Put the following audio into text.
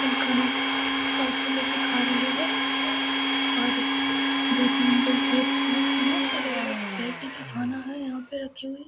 अ खाना आके लेके खा रहे है और दो-तीन लोग दे रहे है खाना अलग-अलग ब्रेड टिकी खाना है यहाँ पे एकचुली ।